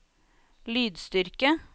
lydstyrke